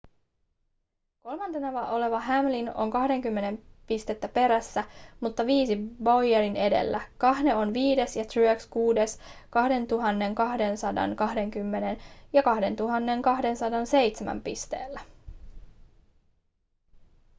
kolmantena oleva hamlin on 20 pistettä perässä mutta viisi bowyeria edellä kahne on viides ja truex kuudes 2 220 ja 2 207 pisteellä